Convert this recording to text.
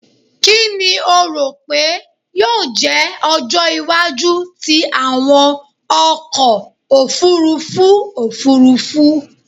Kini o ro pe yoo jẹ ọjọ iwaju ti awọn ọkọ ofurufu ofurufu?